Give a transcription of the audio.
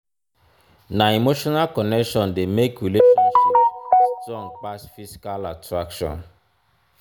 na emotional connection dey make relationship strong pass physical attraction.